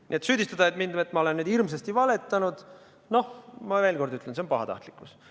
Nii et süüdistada mind, et ma olen nüüd hirmsasti valetanud – noh, ma veel kord ütlen, et see on pahatahtlikkus.